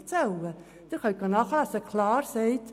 Sie können diese nachlesen: